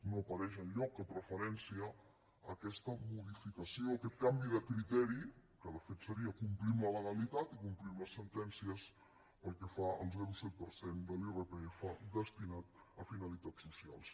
no apareix enlloc cap referència a aquesta modificació a aquest canvi de criteri que de fet seria complir la legalitat i complir les sentències pel que fa al zero coma set per cent de l’irpf destinat a finalitats socials